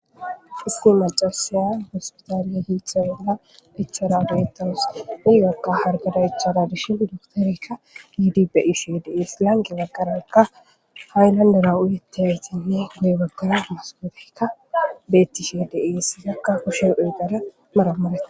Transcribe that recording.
isti macasaya hospitaaliya hiitxa bolla ichara deytawus uyyaqa hargada ichara dishin duktorekka gidibeishides lange baggarankka haaylandera uyete hetiyi de baggara masgofekka bettishe desi zakka kushe eegara maramarata